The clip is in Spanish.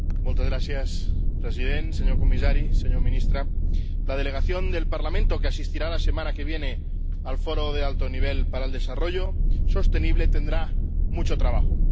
Señor presidente, señor comisario, señora ministra, la delegación del Parlamento que asistirá la semana que viene al Foro Político de Alto Nivel sobre Desarrollo Sostenible tendrá mucho trabajo.